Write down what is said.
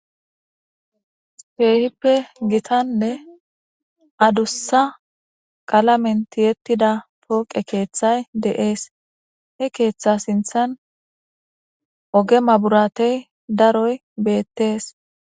Keehippe gittanne addussa qalammen tiyettida poqqe keththay de'es. He keeththa sinththan ogge mabratte daaroy bettes.